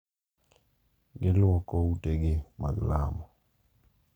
Gilwoko utegi mag lamo.